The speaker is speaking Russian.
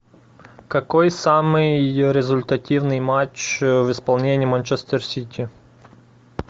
какой самый результативный матч в исполнении манчестер сити